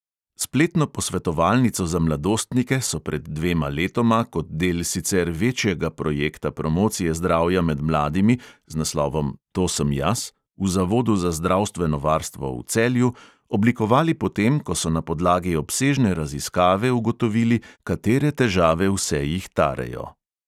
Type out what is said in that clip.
Spletno posvetovalnico za mladostnike so pred dvema letoma kot del sicer večjega projekta promocije zdravja med mladimi z naslovom to sem jaz v zavodu za zdravstveno varstvo v celju oblikovali potem, ko so na podlagi obsežne raziskave ugotovili, katere težave vse jih tarejo.